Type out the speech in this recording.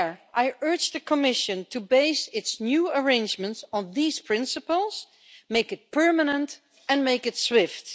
I urge the Commission to base its new arrangements on these principles, make it permanent, and make it swift.